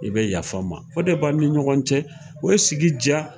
I bɛ yaf'an ma o de b'a ni ɲɔgɔn cɛ, o bɛ sigi diya.